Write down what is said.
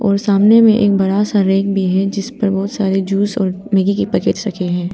और सामने में एक बड़ा सा रैक भी है जिसपर बहुत सारे जूस और मैगी के पैकेट रखे हैं।